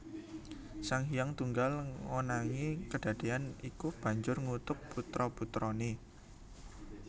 Sang Hyang Tunggal ngonangi kedadéyan iku banjur ngutuk putra putrané